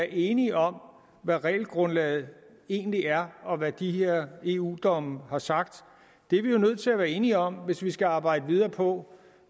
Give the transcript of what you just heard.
enige om hvad regelgrundlaget egentlig er og hvad de her eu domme har sagt det er vi jo nødt til at være enige om hvis vi skal arbejde videre på